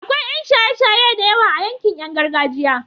akwai Yan shaye shaye da yawa a yankin Yan gargajiya